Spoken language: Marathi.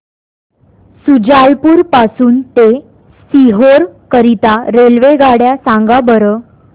शुजालपुर पासून ते सीहोर करीता रेल्वेगाड्या सांगा बरं